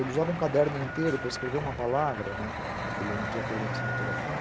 Ele usava um caderno inteiro para escrever uma palavra, né, que ele não tinha coordenação motora fina.